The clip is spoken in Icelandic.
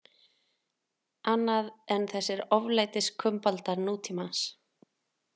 Annað en þessir oflætiskumbaldar nútímans.